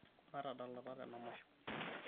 matadalata tenamasho